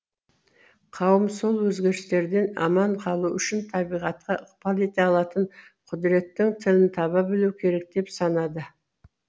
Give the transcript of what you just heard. қауым сол өзгерістерден аман қалу үшін табиғатқа ықпал ете алатын құдіреттің тілін таба білуі керек деп санады